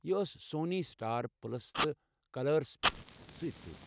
یہ ٲس Sony, Star Plus تہٕ کلرسس پٮ۪ٹھ سۭتۍ سۭتۍ ۔